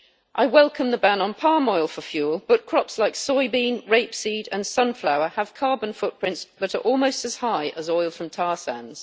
I welcome the ban on palm oil for fuel, but crops like soybean, rapeseed and sunflower have carbon footprints that are almost as high as oil from tar sands.